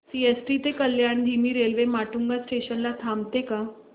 CST ते कल्याण धीमी railway Matunga station ला थांबते का